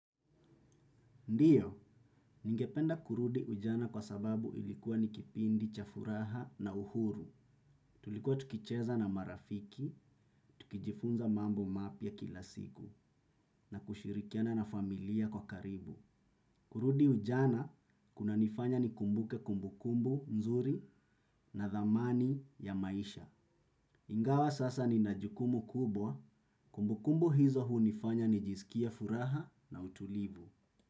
Ndiyo, ningependa kurudi ujana kwa sababu ilikuwa nikipindi cha furaha na uhuru. Tulikuwa tukicheza na marafiki, tukijifunza mambo mapya kila siku, na kushirikiana na familia kwa karibu. Kurudi ujana, kunanifanya ni kumbuke kumbukumbu mzuri na dhamani ya maisha. Ingawa sasa ni najukumu kubwa, kumbukumbu hizo huu nifanya ni jisikie furaha na utulivu.